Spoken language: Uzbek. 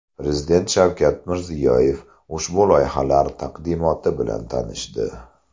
Prezident Shavkat Mirziyoyev ushbu loyihalar taqdimoti bilan tanishdi.